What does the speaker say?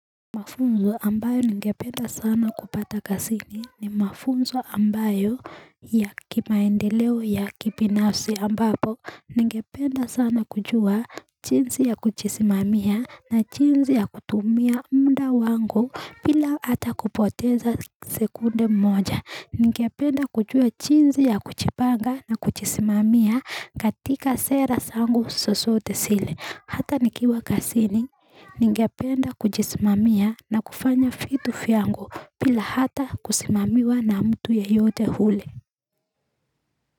Mafunzo ambayo ngependa sana kupata kasini ni mafunzo ambayo ya kimaendeleo ya kipinafsi ambapo. Ngependa sana kujua chinzi ya kuchisimamia na chinzi ya kutumia muda wangu bila ata kupoteza sekunde moja. Ngependa kujua chinzi ya kuchipanga na kuchisimamia katika seras angu sosote sile. Hata nikiwa kasini, ningependa kujismamia na kufanya fitu fiyango pila hata kusimamiwa na mtu ya yote huli.